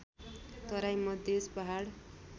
तराई मधेश पहाड